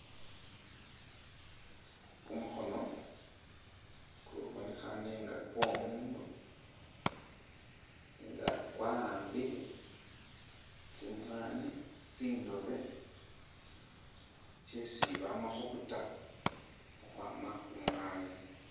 Kumukhono kubonekhane nga kwomundu nga kwawambile tsimwanyi tsindobe tsesi bama khubuta ukhwama khumwanyi.